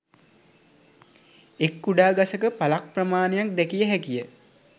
එක් කුඩා ගසක පල ක් ප්‍රමාණයක් දැකිය හැකිය